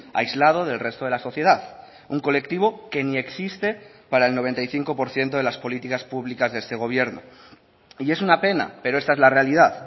aislado del resto de la sociedad un colectivo que ni existe para el noventa y cinco por ciento de las políticas públicas de este gobierno y es una pena pero esta es la realidad